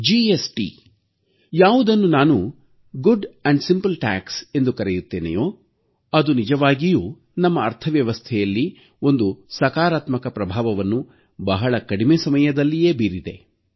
GST ಯಾವುದನ್ನು ನಾನು ಉತ್ತಮ ಮತ್ತು ಸರಳ ತೆರಿಗೆ ಎಂದು ಕರೆಯುತ್ತೇನೆಯೋ ಅದು ನಿಜವಾಗಿಯೂ ನಮ್ಮ ಅರ್ಥವ್ಯವಸ್ಥೆಯಲ್ಲಿ ಒಂದು ಸಕಾರಾತ್ಮಕ ಪ್ರಭಾವವನ್ನು ಬಹಳ ಕಡಿಮೆ ಸಮಯದಲ್ಲೇ ಬೀರಿದೆ